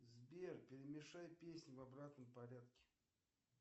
сбер перемешай песни в обратном порядке